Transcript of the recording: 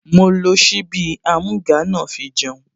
Mo lo ṣíbí amúga náà fi jẹun